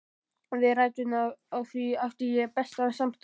Við ræturnar á því átti ég bestan samastað.